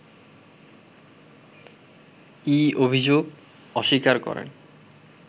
ই অভিযোগ অস্বীকার করে